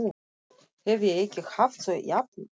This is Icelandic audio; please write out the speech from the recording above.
Hef ég ekki haft þau jafnan?